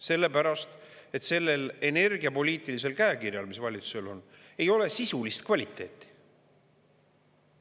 Sellepärast, et sellel energiapoliitilisel käekirjal, mis valitsusel ei ole sisulist kvaliteeti.